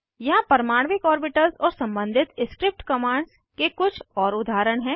यहाँ परमाणविक ऑर्बिटल्स और सम्बंधित स्क्रिप्ट कमांड्स के कुछ और उदाहरण हैं